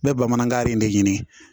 Bɛɛ bamanankan in de ɲini